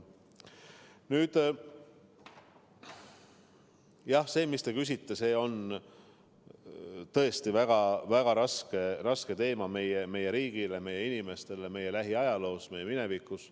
Nüüd, jah, see, mis te küsite, on tõesti väga raske teema meie riigile, meie inimestele, meie lähiajaloos, meie minevikus.